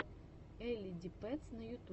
элли ди пэтс на ютубе